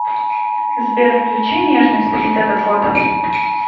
сбер включи нежность рита дакота